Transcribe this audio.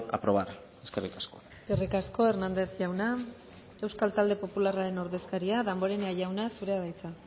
aprobar eskerrik asko eskerrik asko hernández jauna euskal talde popularraren ordezkaria damborenea jauna zurea da hitza